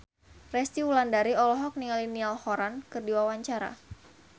Resty Wulandari olohok ningali Niall Horran keur diwawancara